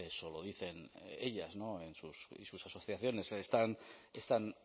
eso lo dicen ellas y sus asociaciones están